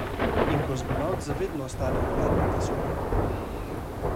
In kozmonavt za vedno ostane v hladnem vesolju ...